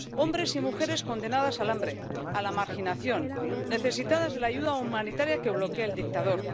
hombres y mujeres condenados al hambre, a la marginación, necesitados de la ayuda humanitaria que bloquea el dictador.